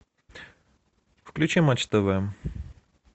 включи матч тв